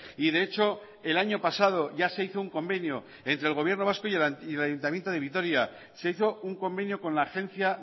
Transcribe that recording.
y de hecho el año pasado ya se hizo un convenio entre el gobierno vasco y el ayuntamiento de vitoria se hizo un convenio con la agencia